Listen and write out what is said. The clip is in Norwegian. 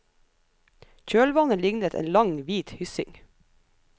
Kjølvannet lignet en lang, hvit hyssing.